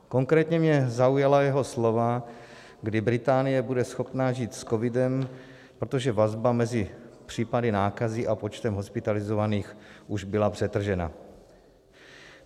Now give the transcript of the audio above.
Konkrétně mě zaujala jeho slova, kdy Británie bude schopna žít s covidem, protože vazba mezi případy nákazy a počtem hospitalizovaných už byla přetržena.